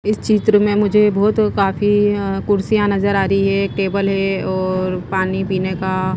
इस चित्र में मुझे बहुत काफी अ कुर्सियां नजर आ रही है एक टेबल है और पानी पीने का--